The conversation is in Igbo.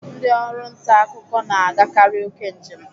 Ndị ọrụ nta akụkọ na agakari oke njem.